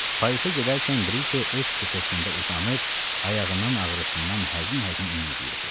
Parisə gedərkən Brike öz kupesində uzanıb ayağının ağrısından həzin-həzin inildəyirdi.